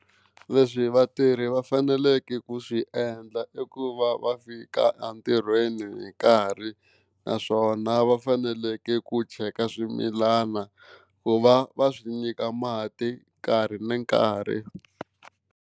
Leswi vatirhi va faneleke ku swi endla i ku va va fika entirhweni hi nkarhi naswona va faneleke ku cheka swimilana ku va va swi nyika mati nkarhi na nkarhi.